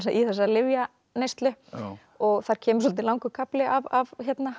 í þessa lyfjaneyslu og það kemur svolítið langur kafli af